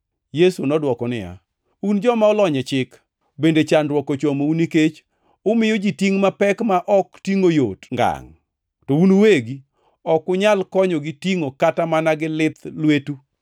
Yesu nodwoko niya, “Un joma olony e chik, bende chandruok ochomou nikech umiyo ji tingʼ mapek ma ok tingʼo yot ngangʼ, to un uwegi ok unyal konyogi tingʼogi kata mana gi lith lwetu.